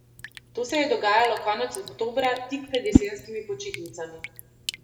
To se je dogajalo konec oktobra, tik pred jesenskimi počitnicami.